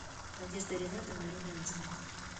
надеждой ринатовной румянцевой